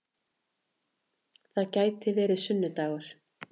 Það gæti hafa verið sunnu-dagur.